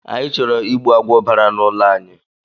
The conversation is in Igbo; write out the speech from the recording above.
Anyị chọrọ ịgbu agwọ bara na ụlọ anyị